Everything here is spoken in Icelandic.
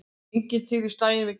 Enginn til í slaginn við Geir